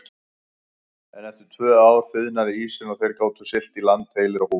En eftir tvö ár þiðnaði ísinn og þeir gátu siglt í land heilir á húfi.